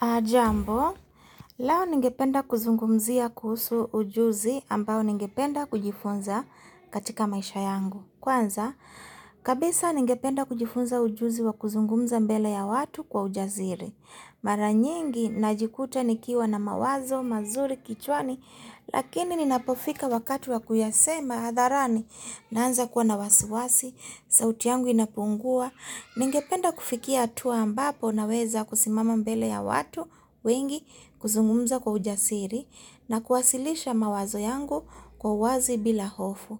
Hajambo, leo ningependa kuzungumzia kuhusu ujuzi ambao ningependa kujifunza katika maisha yangu. Kwanza, kabisa ningependa kujifunza ujuzi wa kuzungumza mbele ya watu kwa ujasiri. Mara nyingi, najikuta nikiwa na mawazo, mazuri kichwani, lakini ninapofika wakati wa kuyasema hadharani. Naanza kuwa na wasiwasi, sauti yangu inapungua, ningependa kufikia hatua ambapo naweza kusimama mbele ya watu wengi kuzungumza kwa ujasiri na kuwasilisha mawazo yangu kwa wazi bila hofu.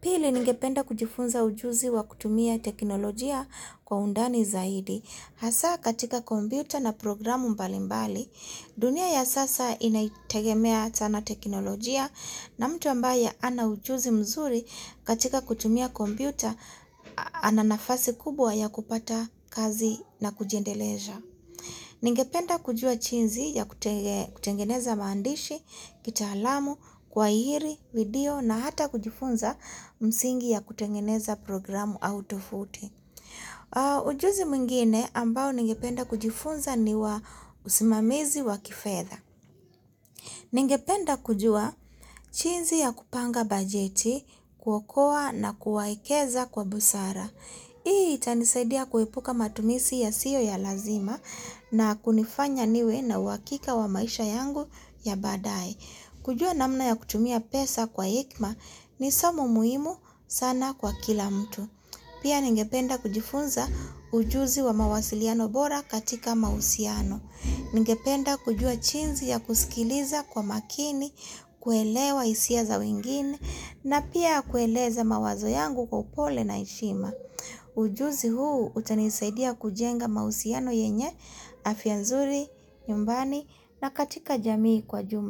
Pili, ningependa kujifunza ujuzi wa kutumia teknolojia kwa undani zaidi. Hasaa katika kompyuta na programu mbali mbali, dunia ya sasa inaitegemea sana teknolojia na mtu ambaye hana ujuzi mzuri katika kutumia kompyuta ana nafasi kubwa ya kupata kazi na kujiendeleza. Ningependa kujua jinsi ya kutengeneza maandishi, kitaalamu, kuahiri video na hata kujifunza msingi ya kutengeneza programu au tovuti. Ujuzi mwngine ambao ningependa kujifunza ni wa usimamizi wa kifedha Ningependa kujuwa jinsi ya kupanga bajeti kwa kuokowa nakuwaekeza kwa busara Hii itanisaidia kuepuka matumizi yasiyo ya lazima na kunifanya niwe na uhakika wa maisha yangu ya baadae kujua namna ya kutumia pesa kwa hekima ni somo muhimu sana kwa kila mtu Pia ningependa kujifunza ujuzi wa mawasiliano bora katika mahusiano. Ningependa kujua jinsi ya kusikiliza kwa makini, kuelewa hisia za wengine, na pia kueleza mawazo yangu kwa upole na heshima. Ujuzi huu utanisaidia kujenga mahusiano yenye, afya nzuri, nyumbani, na katika jamii kwa jumla.